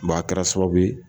Ba kɛra sababuye.